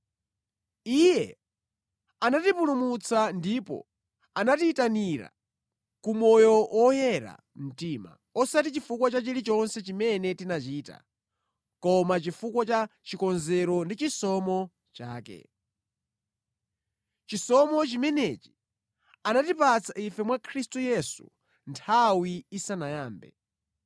Iye anatipulumutsa ndipo anatiyitanira ku moyo oyera mtima, osati chifukwa cha chilichonse chimene tinachita, koma chifukwa cha chikonzero ndi chisomo chake. Chisomo chimenechi anatipatsa ife mwa Khristu Yesu nthawi isanayambe.